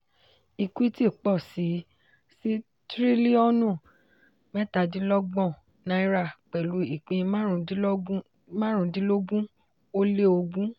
equity pọ̀ síi sí triliọ̀nù mẹ́tàdinlọ́gbọ̀n náírà pẹ̀lú ìpín márundínlógún ó lé ogún.